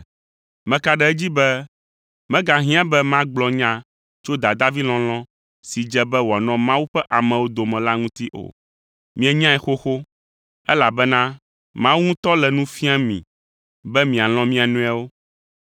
Meka ɖe edzi be megahiã be magblɔ nya tso dadavilɔlɔ̃ si dze be wòanɔ Mawu ƒe amewo dome la ŋuti o; mienyae xoxo! Elabena Mawu ŋutɔ le nu fiam mi be mialɔ̃ mia nɔewo.